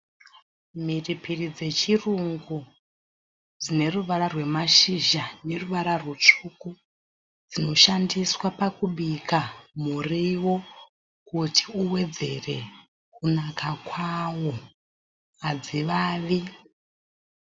Mhiripiri dzechirungu dzine ruvara rwemashizha neruvara rutsvuku. Dzinoshandiswa pakubika muriwo kuti uwedzere kunaka kwawo hadzivavi.